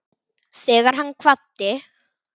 Þegar hann kvaddi